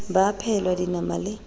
ba a phehelwa dinama le